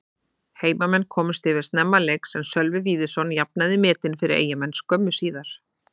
Heimamenn komust yfir snemma leiks en Sölvi Víðisson jafnaði metin fyrir Eyjamenn skömmu síðar.